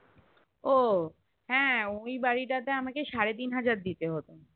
ও হ্যাঁ ওই বাড়িতাতে আমাকে সাড়ে তিনহাজার দিতে হতো